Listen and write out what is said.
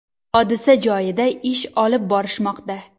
Hodisa joyida ish olib borishmoqda.